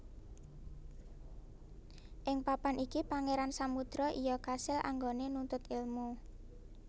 Ing papan iki Pangeran Samudro iya kasil anggone nuntut ilmu